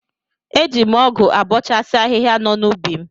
Eji m ọgụ abọchasi ahihia nọ n'ubi m.